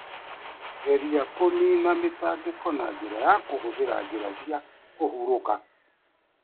Geria kũniina mĩtangĩko na njĩra ya kũhũthĩra njĩra cia kũhurũka.